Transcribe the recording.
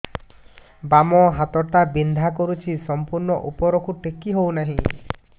ବାମ ହାତ ଟା ବିନ୍ଧା କରୁଛି ସମ୍ପୂର୍ଣ ଉପରକୁ ଟେକି ହୋଉନାହିଁ